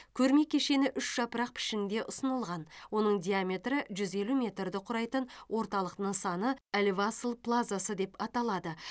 көрме кешені үш жапырақ пішінінде ұсынылған оның диаметрі жүз елу метрді құрайтын орталық нысаны әл васл плазасы деп аталады